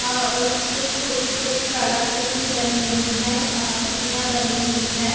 और कुछ छोटी-छोटी कला कृति बनी हुई है आ आकृतियाँ बनी हुई है।